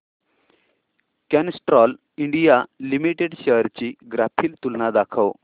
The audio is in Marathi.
कॅस्ट्रॉल इंडिया लिमिटेड शेअर्स ची ग्राफिकल तुलना दाखव